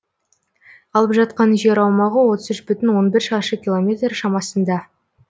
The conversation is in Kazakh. алып жатқан жер аумағы отыз үш бүтін он бір шаршы километр шамасында